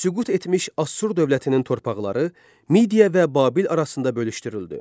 Süqut etmiş Assur dövlətinin torpaqları Midiya və Babil arasında bölüşdürüldü.